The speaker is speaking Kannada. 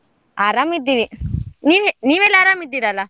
ಆರಾಮ್ ಇದ್ದೀವಿ, ನೀವೇ~ ನೀವೆಲ್ಲ ಆರಾಮ್ ಇದ್ದಿರಲ್ಲ?